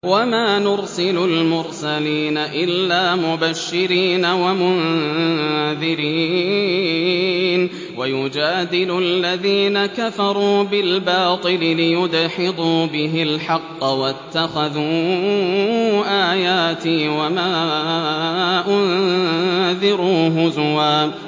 وَمَا نُرْسِلُ الْمُرْسَلِينَ إِلَّا مُبَشِّرِينَ وَمُنذِرِينَ ۚ وَيُجَادِلُ الَّذِينَ كَفَرُوا بِالْبَاطِلِ لِيُدْحِضُوا بِهِ الْحَقَّ ۖ وَاتَّخَذُوا آيَاتِي وَمَا أُنذِرُوا هُزُوًا